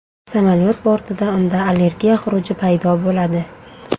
Samolyot bortida unda allergiya xuruji paydo bo‘ladi.